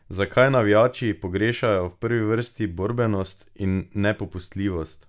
Zakaj navijači pogrešajo v prvi vrsti borbenost in nepopustljivost?